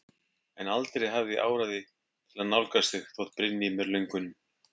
En aldrei hafði ég áræði til að nálgast þig þótt brynni í mér löngunin.